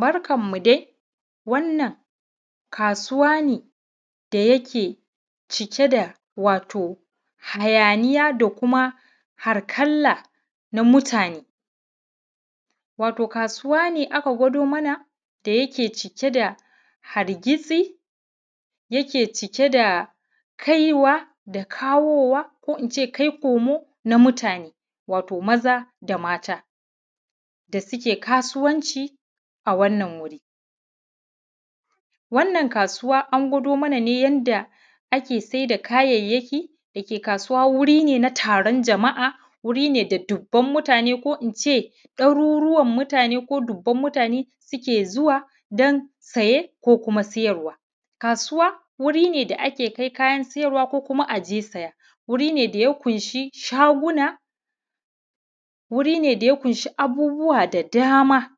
Barkanmu dai, wannan kasuwa ne da yake cike da wato hayaniya da kuma harkala na mutane wato kasuwa ne aka gwado mana da yake cike da hargisi, yake cike da kaiwa da kawowa ko ince kai komo na mutane wato maza da mata da suke kasuwanci a wannan wuri, wannan kasuwa an gwado mana yadda ake saida kayayyaki dake kasuwa wuri ne na taron jama’a, wuri ne da dubban mutane ko ince daruruwan mutane ko dubban mutane suke zuwa don saye ko kuma sayarwa, kasuwa wuri ne da ake kai kayan siyarwa ko kuma aje saya, wuri ne da ya ƙunshi shaguna, wuri ne da ya ƙunshi abubuwa da dama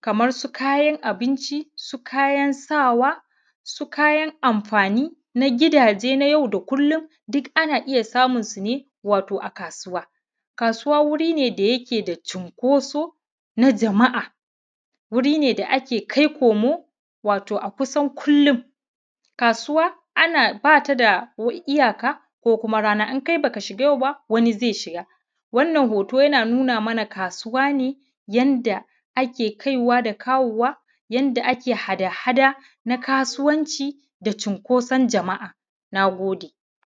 kamar su, kayan abinci, su kayan sawa, su kayan amfani na gidaje nay au da kullum du kana iya samunsu ne wato a kasuwa, kasuwa wuri ne da yake da shinƙoso na jama’a, wuri ne da ake kai komo wato a kusan kullum kasuwa ana bata da iyaka ko kuma rana, in kai baka shiga yau ba wani zai shiga, wannan hoto yana nuna mana kasuwa ne yadda ake kaiwa da kawowa, yadda ake hada-hada na kasuwanci da shinkosan jama’a, na gode.